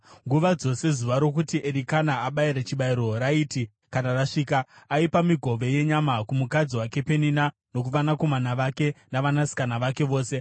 Nguva dzose zuva rokuti Erikana abayire chibayiro raiti kana rasvika, aipa migove yenyama kumukadzi wake Penina nokuvanakomana vake navanasikana vake vose.